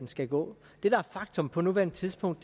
skal gå det der er faktum på nuværende tidspunkt